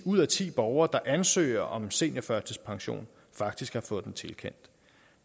ud af ti borgere der ansøger om seniorførtidspension faktisk har fået den tilkendt